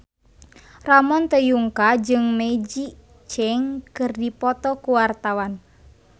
Ramon T. Yungka jeung Maggie Cheung keur dipoto ku wartawan